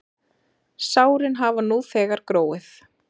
Sárin hafa nú þegar gróið.